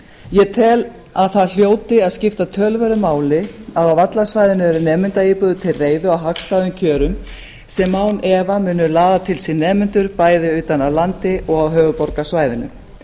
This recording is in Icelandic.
ég tel að það hljóti að skipta töluverðu máli að á vallarsvæðinu eru nemendaíbúðir til reiðu á hagstæðum kjörum sem án efa munu laða til sín nemendur bæði utan af landi og af höfuðborgarsvæðinu